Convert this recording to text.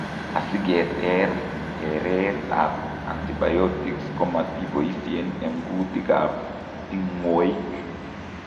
Asiketeer tereet ab antibiotics komatiboisien eng' kuutik ab tingwoik